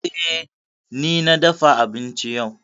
Eh, ni na dafa abinci yau.